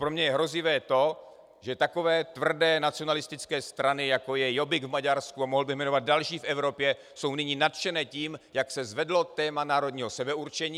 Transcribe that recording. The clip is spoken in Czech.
Pro mě je hrozivé to, že takové tvrdé nacionalistické strany, jako je Jobbik v Maďarsku, a mohl bych jmenovat další v Evropě, jsou nyní nadšené tím, jak se zvedlo téma národního sebeurčení.